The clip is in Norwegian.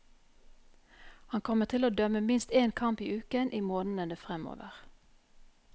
Han kommer til å dømme minst én kamp i uken i månedene fremover.